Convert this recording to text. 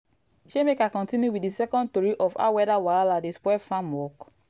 shey make i continue with the second tori of how weather wahala dey spoil farm work?